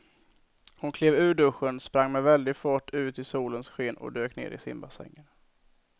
Hon klev ur duschen, sprang med väldig fart ut i solens sken och dök ner i simbassängen.